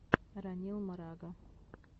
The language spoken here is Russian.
ранил марага